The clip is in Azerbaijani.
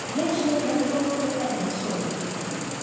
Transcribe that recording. Gənc də dərhal sol əlini sol qaşına toxundurdu.